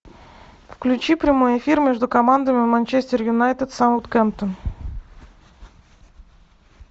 включи прямой эфир между командами манчестер юнайтед саутгемптон